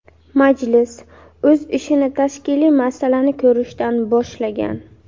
Majlis o‘z ishini tashkiliy masalani ko‘rishdan boshlagan.